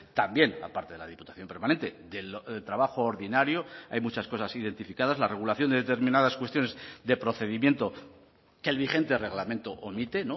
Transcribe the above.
también aparte de la diputación permanente del trabajo ordinario hay muchas cosas identificadas la regulación de determinadas cuestiones de procedimiento que el vigente reglamento omite